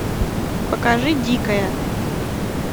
покажи дикая